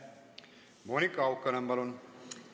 Monika Haukanõmm, palun!